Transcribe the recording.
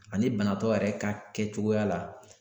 Ani banatɔ yɛrɛ ka kɛcogoya la.